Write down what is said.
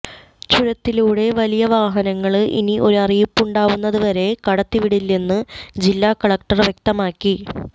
ചുരത്തിലൂടെ വലിയ വാഹനങ്ങള് ഇനി ഒരു അറിയിപ്പുണ്ടാവുന്നതുവരെ കടത്തിവിടില്ലെന്ന് ജില്ലാ കലക്ടര് വ്യക്തമാക്കി